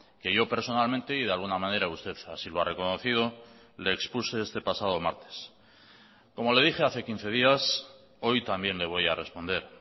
que yo personalmente y de alguna manera usted así lo ha reconocido le expuse este pasado martes como le dije hace quince días hoy también le voy a responder